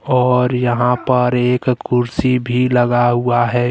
और यहाँ पर एक कुर्सी भी लगा हुआ है।